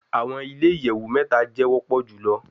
Awọn ile iyẹwu mẹta jẹ wọpọ julọ